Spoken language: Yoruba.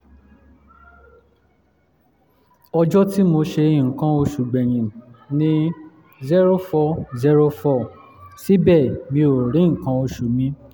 ọjọ́ tí mo ṣe nǹkan oṣù gbẹ̀yìn ni zero four zero four síbẹ̀ mi ò rí nǹkan oṣù mi